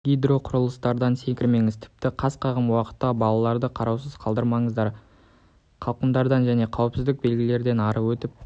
гидроқұрылыстардан секірмеңіз тіпті қас қағым уақытқа балаларды қараусыз қалдырмаңыздар қалқымалардан және қауіпсіздік белгілерінен ары өтіп